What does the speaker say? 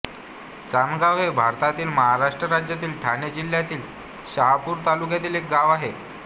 चांदगाव हे भारतातील महाराष्ट्र राज्यातील ठाणे जिल्ह्यातील शहापूर तालुक्यातील एक गाव आहे